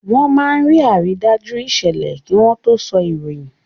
Wọ́n máa ń rí àrídájú ìṣẹ̀lẹ̀ kí wọ́n tó sọ ìròyìn.